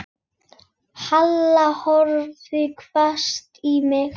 Halla horfði hvasst á mig.